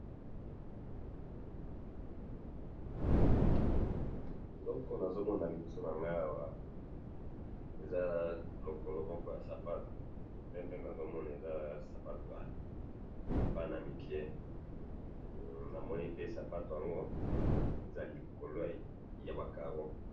eloko nazomona liboso nanga awa ezaya lokolo moko sapatu, nde namoni eza sapatu wana ya bana mike, pe ndenge namoni sapatu wana eza likolo yaba carreaux.